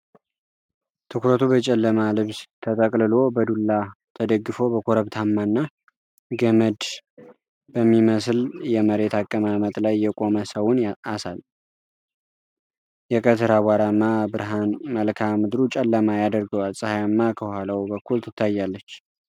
ትኩረቱ በጨለማ ልብስ ተጠቅልሎ በዱላ ተደግፎ በኮረብታማና ገመድ በሚመስል የመሬት አቀማመጥ ላይ የቆመ ሰውን አሳያል። የቀትር አቧራማ ብርሃን መልክዓ ምድሩን ጨለማ ያደርገዋል፣ ፀሐይም ከኋላው በኩል ትታያለች።